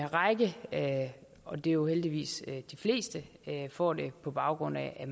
række og det er jo heldigvis de fleste får det på baggrund af at